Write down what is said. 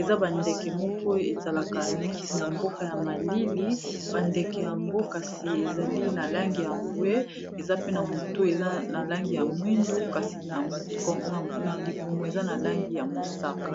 eza bandeke moko ezalaka neti na mboka ya malili bandeke yango kasi ezali na langi ya mbwe eza pe na motu eza na langi ya mwindu kasi na libumu eza na langi ya mosaka